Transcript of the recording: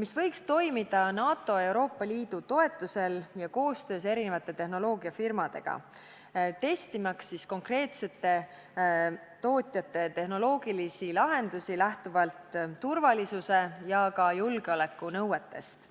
mis võiks toimida NATO ja Euroopa Liidu toetusel ning koostöös tehnoloogiafirmadega, testimaks konkreetsete tootjate tehnoloogilisi lahendusi lähtuvalt turvalisuse ja ka julgeoleku nõuetest.